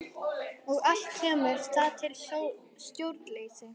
Og allt kemur það til af stjórnleysi.